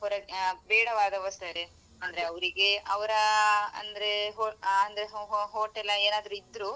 ಆ ಬೇಡವಾದ ವಸ್ತು ಅಂದ್ರೆ ಅವ್ರಿಗೆ ಅವ್ರ ಅಂದ್ರೆ ho~ ಆ ಅಂದ್ರೆ ho~ ho~ hotel ಏನಾದ್ರು ಇದ್ರು.